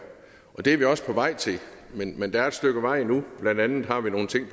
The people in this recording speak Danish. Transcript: og det er vi også på vej til men men der er et stykke vej endnu blandt andet har vi nogle ting